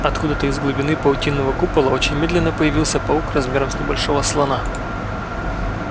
откуда-то из глубины паутинного купола очень медленно появился паук размером с небольшого слона